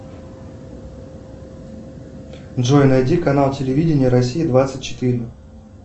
джой найди канал телевидения россия двадцать четыре